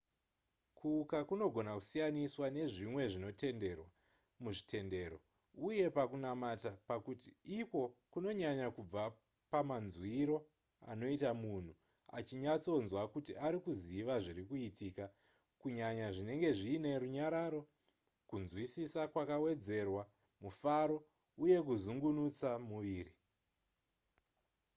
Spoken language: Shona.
kuuka kunogona kusiyaniswa nezvimwe zvinotendendwa muzvitendero uye pakunamata pakuti ikwo kunonyanya kubva pamanzwiro anoita munhu achinyatsonzwa kuti ari kuziva zviri kuitika kunyanya zvinenge zviine runyararo kunzwisisa kwakawedzerwa mufaro uye kuzunungutsa muviri